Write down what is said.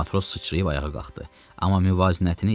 Matros sıçrayıb ayağa qalxdı, amma müvazinətini itirdi.